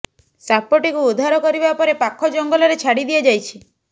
ସାପ ଟିକୁ ଉଦ୍ଧାର କରିବା ପରେ ପାଖ ଜଙ୍ଗଲରେ ଛାଡି ଦିଆଯାଇଛି